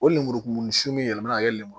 O lemurukumuni sun min yɛrɛ bina kɛ lemuru